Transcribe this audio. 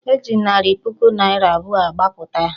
E ji narị puku naịra abụọ gbapụta ya